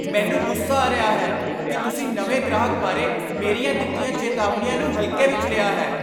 ਮੈਨੂੰ ਗੁੱਸਾ ਆ ਰਿਹਾ ਹੈ ਕਿ ਤੁਸੀਂ ਨਵੇਂ ਗ੍ਰਾਹਕ ਬਾਰੇ ਮੇਰੀਆਂ ਦਿੱਤੀਆਂ ਚੇਤਾਵਨੀਆਂ ਨੂੰ ਹਲਕੇ ਵਿੱਚ ਲਿਆ ਹੈ।